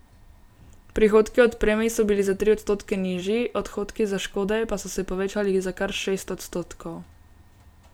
Prihodki od premij so bili za tri odstotke nižji, odhodki za škode pa so se povečali za kar šest odstotkov.